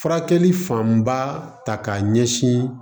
Furakɛli fanba ta k'a ɲɛsin